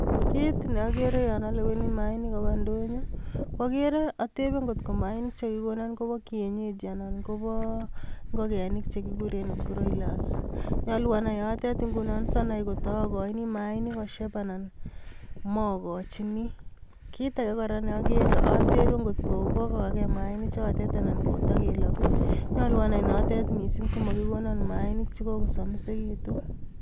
Kit ne agere yon aleweni maanik koba indonyo, ko agere, atebe ngot ko maanik che kagikonan kobo kienyeji anan kobo ingogenik che kuguren broilers. Nyalu anai yotet ingunon si anai ngotagoini maanik kosyep anan magochini. Kit age kora ne agere atebe ngot ko kogogage maanik chotet anan kotagelagu. Nyalu anai notet mising simakigonan maanik chekogosomisegitu.